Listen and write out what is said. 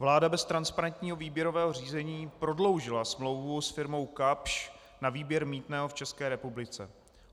Vláda bez transparentního výběrového řízení prodloužila smlouvu s firmou Kapsch na výběr mýtného v České republice.